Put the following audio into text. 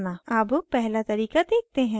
अब पहला तरीका देखते हैं